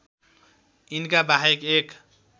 यिनका बाहेक एक